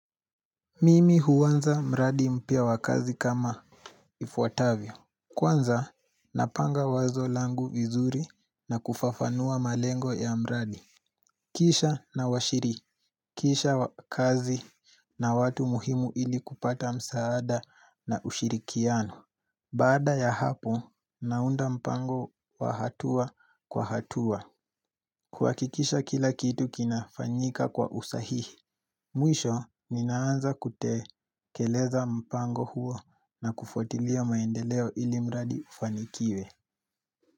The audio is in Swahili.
Mimi huanza mradi mpya wa kazi kama ifuatavyo. Kwanza napanga wazo langu vizuri na kufafanua malengo ya mradi. Kisha nawashirikisha kazi na watu muhimu ili kupata msaada na ushirikiano Baada ya hapo naunda mpango wa hatua kwa hatua, kuhakikisha kila kitu kinafanyika kwa usahihi Mwisho ninaanza kutekeleza mpango huo na kufuatilia maendeleo ili mradi ufanikiwe.